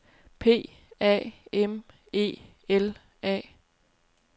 P A M E L A